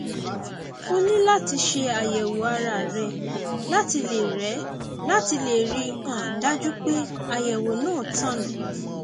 o ní láti ṣe àyẹwò ara rẹ láti lè rẹ láti lè rí i um dájú pé àyẹwò náà tọnà